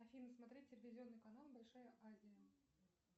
афина смотреть телевизионный канал большая азия